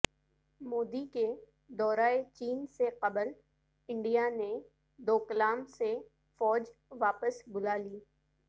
مودی کے دورہ چین سے قبل انڈیا نے ڈوکلام سے فوج واپس بلا لی